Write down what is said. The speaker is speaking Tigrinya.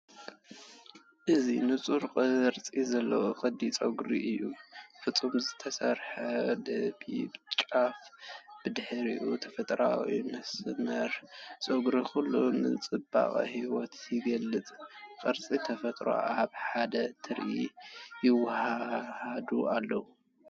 እዚ ንጹር ቅርጺ ዘለዎ ቅዲ ጸጉሪ እዩ። ፍጹም ዝተሰርሐ ጸቢብ ጫፍን ብድሕሪኡ ተፈጥሮኣዊ መስመር ጸጉርን ኩሉ ንጽባቐ ህይወት ይገልጽ፤ ቅርጽን ተፈጥሮን ኣብ ሓደ ትርኢት ይወሃሃዱ ኣለው።